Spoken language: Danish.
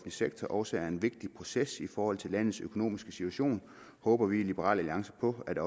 sektor også er en vigtig proces i forhold til landets økonomiske situation håber vi i liberal alliance på at